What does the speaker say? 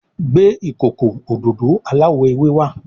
Gbé ìkókó òdodo aláwò ewé wá.